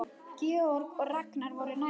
Georg og Ragnar voru nærri.